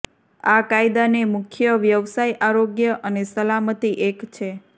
આ કાયદાને મુખ્ય વ્યવસાય આરોગ્ય અને સલામતી એક છે